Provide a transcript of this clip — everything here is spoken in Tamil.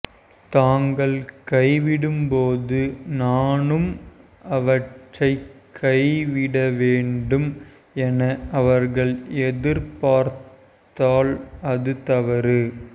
தாங்கள் கைவிடும்போது நானும் அவற்றைக் கைவிடவேண்டும் என அவர்கள் எதிர்பார்த்தால் அது தவறு